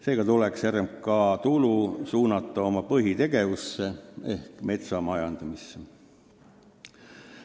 Seega tuleks RMK tulu suunata tema põhitegevusse ehk metsa majandamisse.